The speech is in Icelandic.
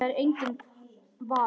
Það er enginn vafi.